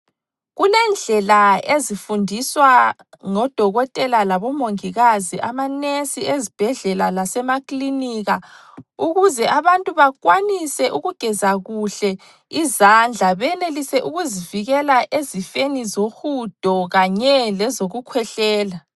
Kulendlela ezifundiswa ngodokotela labomongikazi amanesi ezibhedlela lasemakilinika ukuze abantu bakwanise ukugeza kuhle izandla, benelise ukuzivikela ezifeni zohudo kanye lezokukhwehlela.